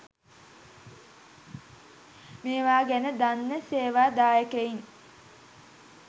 මේවා ගැන දන්න සේවා දායකයින්